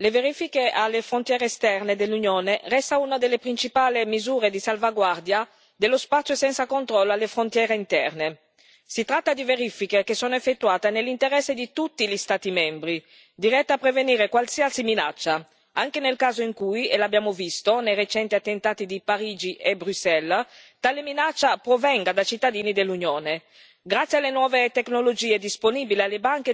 le verifiche alle frontiere esterne dell'Unione restano una delle principali misure di salvaguardia dello spazio senza controllo alle frontiere interne. Si tratta di verifiche che sono effettuate nell'interesse di tutti gli Stati membri, dirette a prevenire qualsiasi minaccia, anche nel caso in cui, e l'abbiamo visto nei recenti attentati di Parigi e Bruxelles, tale minaccia provenga da cittadini dell'Unione.